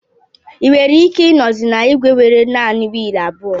Ị nwere ike ịnozi na igwe nwere naanị wiil abụọ